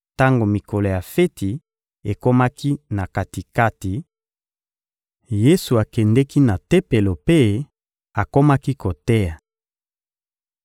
Tango mikolo ya feti ekomaki na kati-kati, Yesu akendeki na Tempelo mpe akomaki koteya.